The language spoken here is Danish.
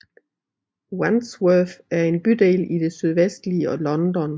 Wandsworth er en bydel i det sydvestlige London